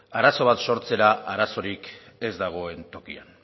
arazo bat sortzera arazorik ez dagoen tokian